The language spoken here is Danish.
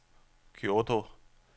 Kyoto